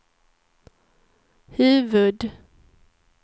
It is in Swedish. huvud-